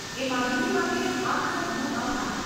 એ માહિતી માટે આપનો ઘણો આભાર.